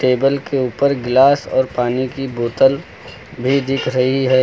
Table के ऊपर glass और पानी की बोतल भी दिख रही है।